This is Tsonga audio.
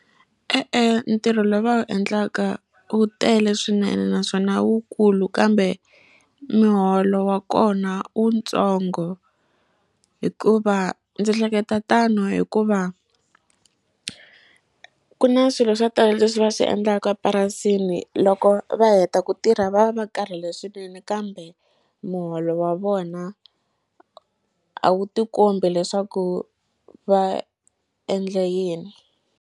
E-e ntirho lowu va wu endlaka wu tele swinene naswona wu kulu kambe miholo wa kona u wu ntsongo hikuva ndzi hleketa tano hikuva ku na swilo swo tala leswi va swi endlaka purasini loko va heta ku tirha va va va karhele swinene kambe muholo wa vona a wu ti kombi leswaku va endle yini.